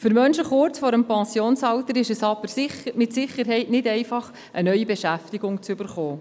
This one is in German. Für Menschen kurz vor dem Pensionsalter ist es aber mit Sicherheit nicht einfach, eine neue Beschäftigung zu erhalten.